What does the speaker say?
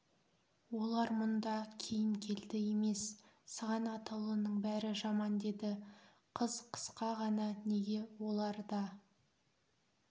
олар мұнда кейін келді емес сыған атаулының бәрі жаман деді қыз қысқа ғана неге олар да